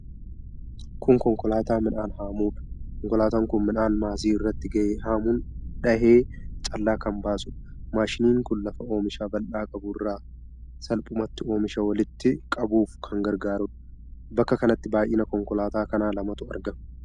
Kun konkolaataa midhaan haamudha. Konkolaataan kun midhaan maasii irratti gahe haamuun dhahee callaa kan baasudha. Maashinni kun lafa oomisha bal'aa qabu irraa salphumatti oomisha walitti qabuuf kan gargaarudha. Bakka kanatti baay'ina konkolaataa kanaa lamatu argama.